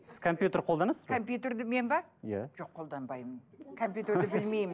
сіз компьютерді қолданасыз ба компютерді мен бе иә жоқ қолданбаймын компьютерді білмеймін